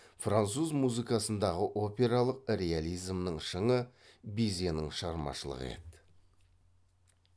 француз музыкасындағы опералық реализмнің шыңы бизенің шығармашылығы еді